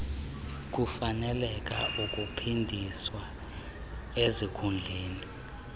kufaneleka ukuphindiswa ezikhundleni